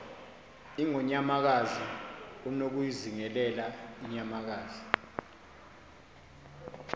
ingonyamakazi unokuyizingelela inyamakazi